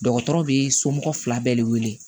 Dɔgɔtɔrɔ bɛ somɔgɔw fila bɛɛ de wele